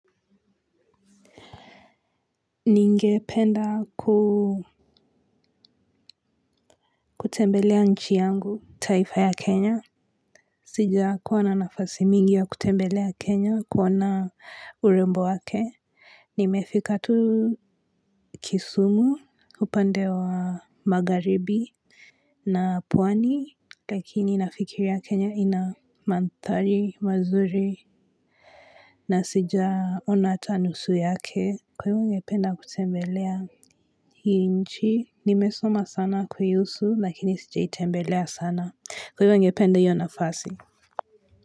Ningependa kutembelea nchi yangu, taifa ya Kenya. Sijakuwa na nafasi mingi ya kutembelea Kenya kuona urembo wake. Nimefika tu kisumu upande wa magharibi. Na pwani, lakini nafikiria Kenya ina mandhari, mazuri. Na sijaona hata nusu yake. Kwivo ningependa kutembelea hii nchi. Nimesoma sana kuihusu lakini sijaitembelea sana kwaivo ningepende hiyo nafasi.